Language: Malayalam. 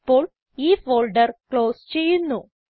ഇപ്പോൾ ഈ ഫോൾഡർ ക്ലോസ് ചെയ്യുന്നു